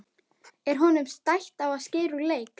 Er honum stætt á að skerast úr leik?